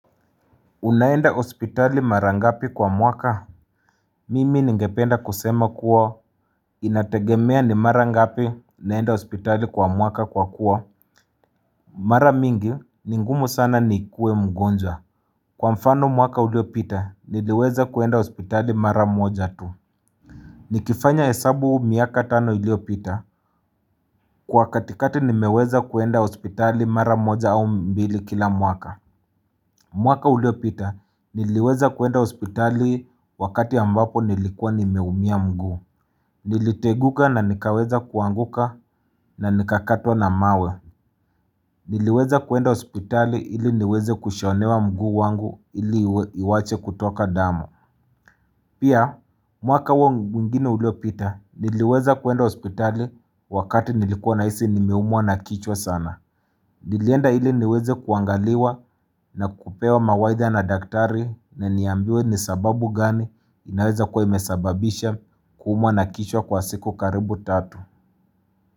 Unaenda hospitali mara ngapi kwa mwaka? Mimi ningependa kusema kuwa Inategemea ni mara ngapi naenda hospitali kwa mwaka kwa kuwa? Mara mingi, ni ngumu sana nikue mgonjwa Kwa mfano mwaka uliopita, niliweza kuenda hospitali mara moja tu Nikifanya hesabu miaka tano iliopita Kwa katikati nimeweza kuenda hospitali mara moja au mbili kila mwaka mwaka uliopita niliweza kuenda hospitali wakati ambapo nilikuwa nimeumia mguu. Niliteguka na nikaweza kuanguka na nikakatwa na mawe. Niliweza kuenda hospitali ili niweze kushonewa mguu wangu ili iwache kutoka damu. Pia mwaka wangu mwingine uliopita niliweza kuenda hospitali wakati nilikuwa nahisi nimeumwa na kichwa sana. Nilienda ili niweze kuangaliwa na kupewa mawaidha na daktari na niambiwe ni sababu gani inaweza kuwa imesababisha kuumwa na kichwa kwa siku karibu tatu.